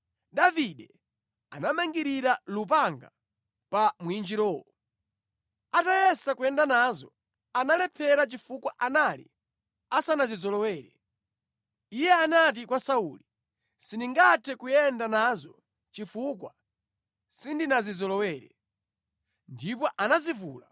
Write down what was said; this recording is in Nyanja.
Davide anamangirira lupanga pa mwinjirowo. Atayesa kuyenda nazo, analephera chifukwa anali asanazizolowere. Iye anati kwa Sauli, “Sindingathe kuyenda nazo chifukwa sindinazizolowere.” Ndipo anazivula.